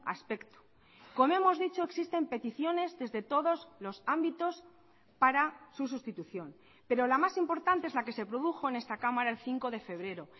aspecto como hemos dicho existen peticiones desde todos los ámbitos para su sustitución pero la más importante es la que se produjo en esta cámara el cinco de febrero